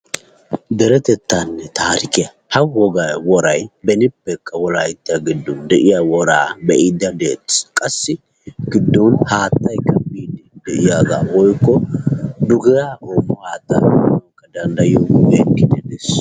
Deretetanne taarike, g woray benippekka wolayttan de'iyaaga be'ide detees. qassi giddon haattaa biide de'iyaaga woykko dugiyaa woykko haatta be'ide deettees.